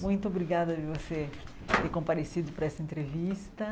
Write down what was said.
Muito obrigada de você ter comparecido para essa entrevista.